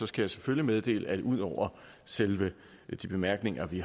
skal jeg selvfølgelig meddele at ud over selve de bemærkninger vi